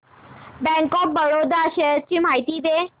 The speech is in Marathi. बँक ऑफ बरोडा शेअर्स ची माहिती दे